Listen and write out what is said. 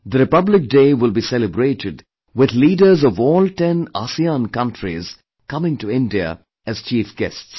The Republic Day will be celebrated with leaders of all ten ASEAN countries coming to India as Chief Guests